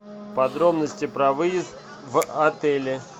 подробности про выезд в отеле